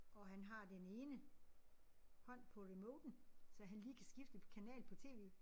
Og han har den ene hånd på remoten så han lige kan skifte på kanal på tv